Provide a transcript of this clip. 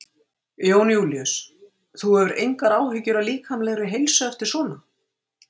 Jón Júlíus: Þú hefur engar áhyggjur af líkamlegri heilsu eftir svona?